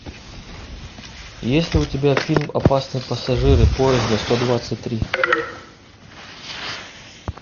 есть ли у тебя фильм опасные пассажиры поезда сто двадцать три